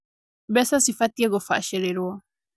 Mbeca cibatiĩ kubacĩrĩrwo